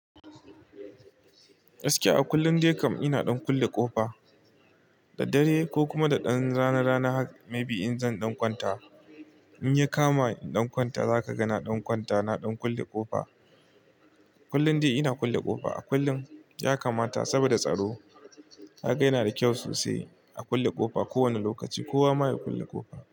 Gaskiya a kullum dai kam ina dan kulle ƙofa. Da dare ko kuma da dan rana rana haka may be in zan ɗan kwanta. In ya kama in ɗan kwanta zaka ga na ɗan kwanta na ɗan kulle ƙofa. Kullum dai ina kulle ƙofa. A kullum ya kamata saboda tsaro. Haka yana da kyau sosai a kulle ƙofa. Ko wane lokaci kowa ma ya kulle ƙofa.